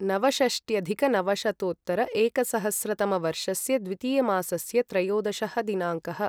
नवषष्ट्यधिकनवशतोत्तर एकसहस्रतमवर्षस्य द्वितीयमासस्य त्रयोदशः दिनाङ्कः